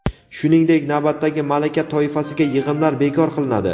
Shuningdek, navbatdagi malaka toifasiga yig‘imlar bekor qilinadi.